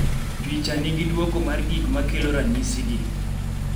picha nigi duoko mar gik makelo ranyisi gi